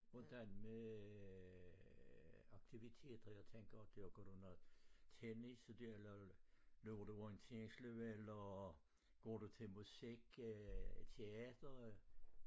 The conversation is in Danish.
Hvordan med aktiviteter jeg tænker dyrker du noget tennis løber du orienteringsløb eller går du til musik øh teater?